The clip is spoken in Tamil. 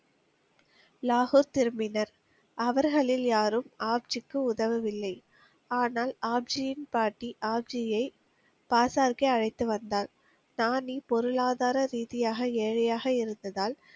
லாகூர் திரும்பினர். அவர்களில் யாரும் ஆப்ஜிக்கு உதவவில்லை. ஆனால் ஆப்ஜியின் பாட்டி ஆப்ஜியை பாசார்கே அழைத்து வந்தார். நானி பொருளாதார ரீதியாக ஏழையாக இருந்ததால்,